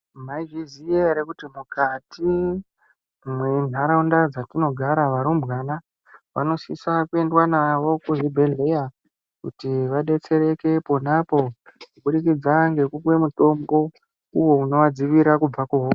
Maizviziva ere kuti mukati menharaunda dzatinogara varumbwana vanosisa kuendwa navo kuzvibhedhlera kuti vadetsereke ponapo kuburikidza ngekupuwa mutombo uwo unovadzivirira kubva kuhosha.